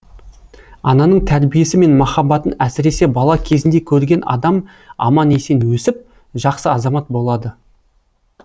ананың тәрбиесі мен махаббатын әсіресе бала кезінде көрген адам аман есен өсіп жақсы азамат болады